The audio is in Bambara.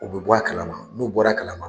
U bɛ bɔ a kalama, n'u bɔra kalama